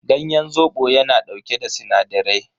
Ganyen zobo yana dauke da sinadarai.